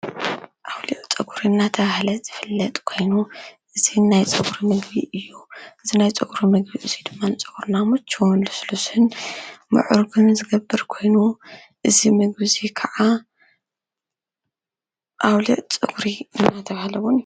አውሊዕ ፀጉሪ እናተብሃለ ዝፍለጥ ኮይኑ፤ እዚ ናይ ፀጉሪ ምግቢ እዩ፡፡ እዚ ናይ ፀጉሪ ምግቢ እዚ ድማ ንፀጉርና ምችውን ልስሉስን ምዕሩግን ዝገብር ኮይኑ፤ እዚ ምግቢ እዚ ከዓ አውሊዕ ፀጉሪ እናተብሃለ እውን